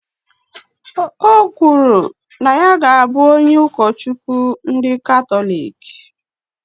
Ọ kwuru na ya ga abụ onye Ukochukwu ndị Katọlik